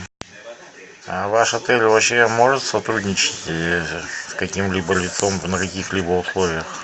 а ваш отель вообще может сотрудничать с каким либо лицом на каких либо условиях